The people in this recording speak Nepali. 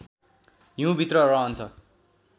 हिउँभित्र रहन्छ